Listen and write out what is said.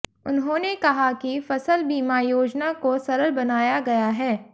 उन्होंने कहा कि फसल बीमा योजना को सरल बनाया गया है